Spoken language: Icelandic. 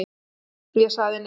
Ég sagði nei.